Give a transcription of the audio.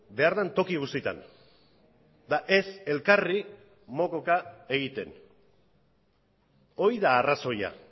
behar den toki guztietan eta ez elkarri mokoka egiten hori da arrazoia